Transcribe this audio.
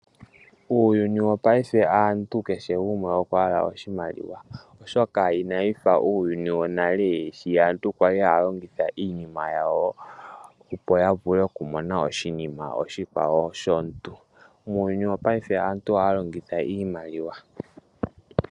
Muuyuni wopayife aantu kehe gumwe okwahala oshimaliwa oshoka inawufa uuyuni wonale sho aantu kwali haya longitha iinima yawo opo yavule okumona oshinima oshikwawo shomuntu . Muuyuni wopayife aantu ohaya longitha iimaliwa.